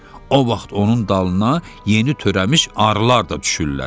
O vaxt onun dalına yeni törəmiş arılar da düşürlər.